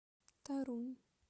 торунь